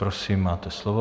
Prosím máte slovo.